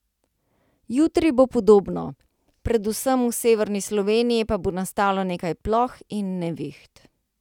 Jutri bo podobno, predvsem v severni Sloveniji pa bo nastalo nekaj ploh in neviht.